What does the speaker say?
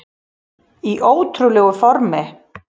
Í ótrúlegu formi